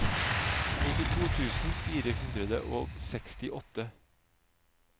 nittito tusen fire hundre og sekstiåtte